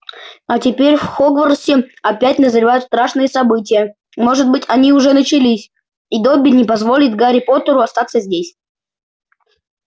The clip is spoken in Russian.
а теперь в хогвартсе опять назревают страшные события может быть они уже начались и добби не позволит гарри поттеру остаться здесь